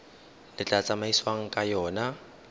le tla tsamaisiwang ka yona